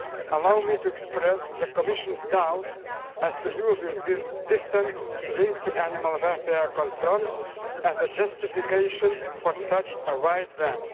Allow me to express the Commission's doubts as to using this distant link to animal welfare concerns as a justification for such a wide ban.